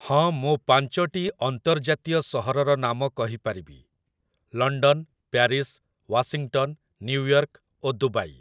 ହଁ ମୁଁ ପାଞ୍ଚଟି ଅନ୍ତର୍ଜାତୀୟ ସହରର ନାମ କହିପାରିବି, ଲଣ୍ଡନ୍ ପ୍ୟାରିସ୍ ୱାସିଂଟନ୍ ନିଉୟର୍କ ଓ ଦୁବାଇ ।